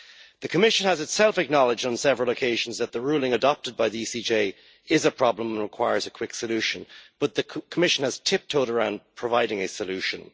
The Commission has itself acknowledged on several occasions that the ruling adopted by the ECJ is a problem and that it requires a quick solution, but the Commission has tiptoed around providing a solution.